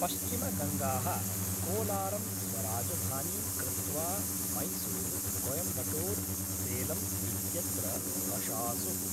पश्चिमगङ्गाः कोलारं स्वराजधानीं कृत्वा मैसूरु, कोयम्बटूर, सेलम् इत्यत्र अशासुः।